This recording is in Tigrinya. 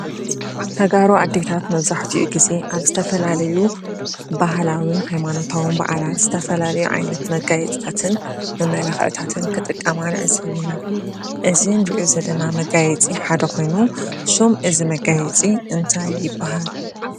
ተጋሩ ኣዴታት መብዛሕቲኡ ጊዜ ኣብ ዝተፈላለዩ ባህላውን ሃይማኖታውን በዓላት ዝተፈላለዩ ዓይነት መጋየፅታትን መመላኽዕታትን ክጥቀማ ንዕዘብ ኢና፡፡ እዚ ንርእዮ ዘለና መጋየፂ ሓደ ኾይኑ ሹም እዚ መጋየፂ እንታይ ይብሃል?